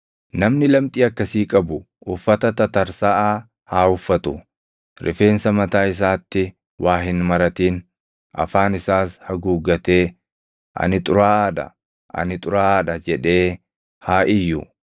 “Namni lamxii akkasii qabu uffata tatarsaʼaa haa uffatu; rifeensa mataa isaatti waa hin maratin; afaan isaas haguuggatee, ‘Ani xuraaʼaa dha! Ani xuraaʼaa dha!’ jedhee haa iyyu.